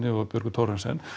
og Björgu Thorarensen